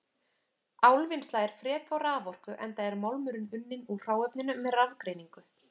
Álvinnsla er frek á raforku enda er málmurinn unninn úr hráefninu með rafgreiningu.